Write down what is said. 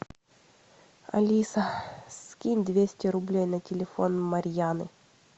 алиса скинь двести рублей на телефон марьяны